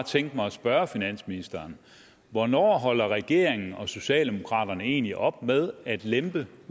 tænke mig at spørge finansministeren hvornår holder regeringen og socialdemokraterne egentlig op med at lempe